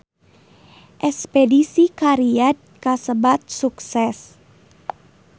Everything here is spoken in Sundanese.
Espedisi ka Riyadh kasebat sukses